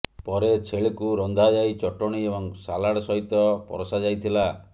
ପରେ ଛେଳିକୁ ରନ୍ଧାଯାଇ ଚଟଣି ଏବଂ ସାଲାଡ୍ ସହିତ ପରଷାଯାଇଥିଲା